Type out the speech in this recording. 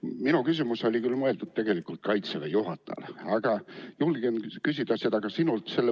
Minu küsimus oli küll mõeldud tegelikult Kaitseväe juhatajale, aga julgen küsida seda ka sinult.